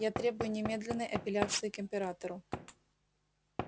я требую немедленной апелляции к императору